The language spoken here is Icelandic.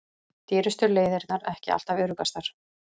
Dýrustu leiðirnar ekki alltaf öruggastar